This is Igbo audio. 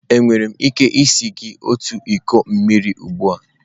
Enwere m ike sie gị otu iko mmiri ugbu a?